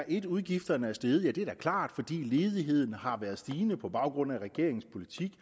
en at udgifterne er steget ja det er da klart fordi ledigheden har været stigende på baggrund af regeringens politik